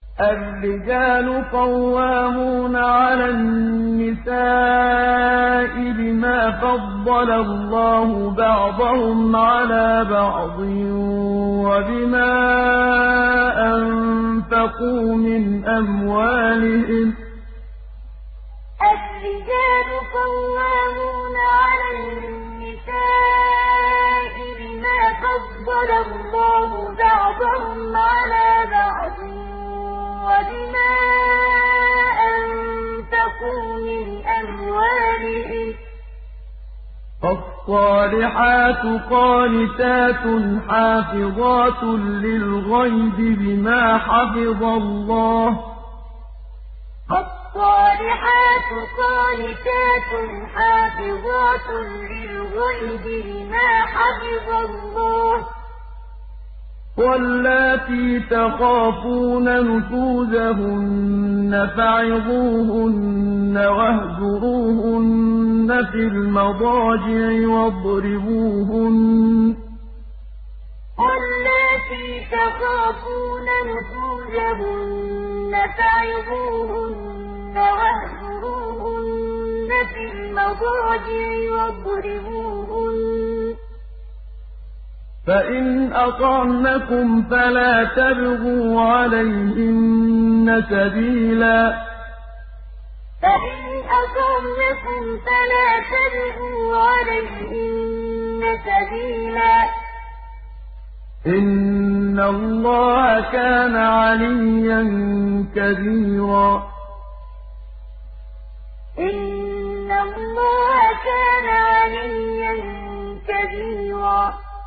الرِّجَالُ قَوَّامُونَ عَلَى النِّسَاءِ بِمَا فَضَّلَ اللَّهُ بَعْضَهُمْ عَلَىٰ بَعْضٍ وَبِمَا أَنفَقُوا مِنْ أَمْوَالِهِمْ ۚ فَالصَّالِحَاتُ قَانِتَاتٌ حَافِظَاتٌ لِّلْغَيْبِ بِمَا حَفِظَ اللَّهُ ۚ وَاللَّاتِي تَخَافُونَ نُشُوزَهُنَّ فَعِظُوهُنَّ وَاهْجُرُوهُنَّ فِي الْمَضَاجِعِ وَاضْرِبُوهُنَّ ۖ فَإِنْ أَطَعْنَكُمْ فَلَا تَبْغُوا عَلَيْهِنَّ سَبِيلًا ۗ إِنَّ اللَّهَ كَانَ عَلِيًّا كَبِيرًا الرِّجَالُ قَوَّامُونَ عَلَى النِّسَاءِ بِمَا فَضَّلَ اللَّهُ بَعْضَهُمْ عَلَىٰ بَعْضٍ وَبِمَا أَنفَقُوا مِنْ أَمْوَالِهِمْ ۚ فَالصَّالِحَاتُ قَانِتَاتٌ حَافِظَاتٌ لِّلْغَيْبِ بِمَا حَفِظَ اللَّهُ ۚ وَاللَّاتِي تَخَافُونَ نُشُوزَهُنَّ فَعِظُوهُنَّ وَاهْجُرُوهُنَّ فِي الْمَضَاجِعِ وَاضْرِبُوهُنَّ ۖ فَإِنْ أَطَعْنَكُمْ فَلَا تَبْغُوا عَلَيْهِنَّ سَبِيلًا ۗ إِنَّ اللَّهَ كَانَ عَلِيًّا كَبِيرًا